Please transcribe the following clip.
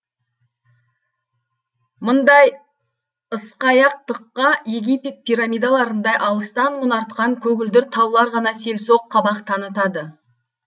мындай ысқаяқтыққа египет пирамидаларындай алыстан мұнартқан көгілдір таулар ғана селсоқ қабақ танытады